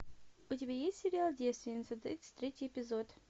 у тебя есть сериал девственница тридцать третий эпизод